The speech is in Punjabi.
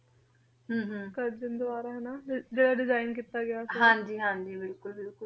ਹਮ ਹਮ ਕਾਰਜਾਂ ਦਵਾਰਾ ਨਾ ਜੇਰਾ design ਹਾਂਜੀ ਹਾਂਜੀ ਬਿਲਕੁਲ ਬਿਲਕੁਲ ਤੇ ਯੇ ਜਿਦਾਂ ਕੇ ਉਨੀ ਸੋ ਚੇ ਤਨ ਉਨੀ ਸੋ ਏਕੀ ਦੇ ਵਿਚਕਾਰ ਦੇ ਸਮੇ ਟੀ ਜੇਰੇ ਪੀ ਸੀ